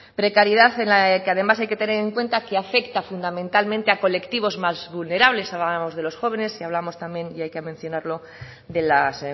precariedad en la que además hay que tener en cuenta que afecta fundamentalmente a colectivos más vulnerables hablábamos de los jóvenes y hablábamos también y hay que mencionarlo de las